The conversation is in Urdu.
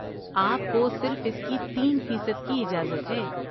آپ کو صرف اس کی تین فیصد کی اجازت ہے